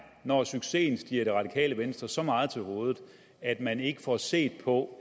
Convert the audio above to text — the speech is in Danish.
når succesen stiger det radikale venstre så meget til hovedet at man ikke får set på